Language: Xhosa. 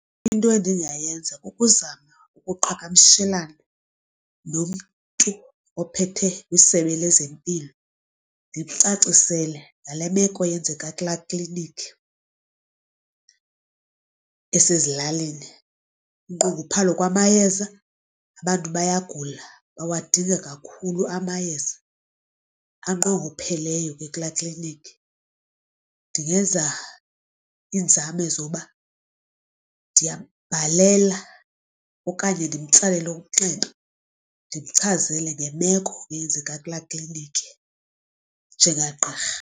Into endingayenza kukuzama ukuqhakamshelana nomntu ophethe kwisebe lezempilo ndimcacisele ngale meko yenzeka kulaa klinikhi esezilalini, unqongophalo lwamayeza abantu bayagula bawadinga kakhulu amayeza anqongopheleyo ke kulaa kliniki. Ndingena iinzame zoba ndiyambhalela okanye ndimtsalele umnxeba ndimchazele ngemeko eyenzeka kulaa kliniki njenga gqirha.